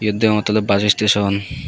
eyen deyongottey oley bus station.